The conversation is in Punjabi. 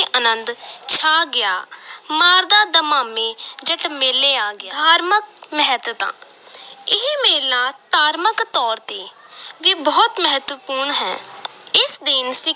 ਅਨੰਦ ਛਾ ਗਿਆ ਮਾਰਦਾ ਦਮਾਮੇ ਜੱਟ ਮੇਲੇ ਆ ਗਿਆ, ਧਾਰਮਕ ਮਹੱਤਤਾ ਇਹ ਮੇਲਾ ਧਾਰਮਕ ਤੌਰ ਤੇ ਵੀ ਬਹੁਤ ਮਹੱਤਵਪੂਰਨ ਹੈ ਇਸ ਦਿਨ